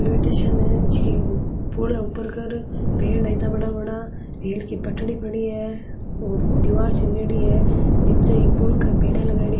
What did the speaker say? Railway station है पुल है ऊपर कर पेड़ है इत्ता बड़ा बड़ा रेल की पटरी पड़ी है और दिवार चिनेडी है निचे ई पुल के पिलर लगाएड़ी।